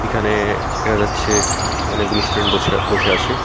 এখানে দেখা যাচ্ছে অনেকগুলি স্টুডেন্ট বছে বসে আছে।